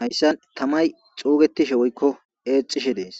hayssa tamay xuugetishe woykko eecishe dees